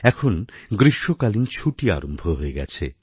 এখন গ্রীষ্মকালীন ছুটি আরম্ভ হয়ে গেছে